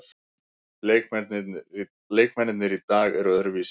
Leikmennirnir í dag eru öðruvísi.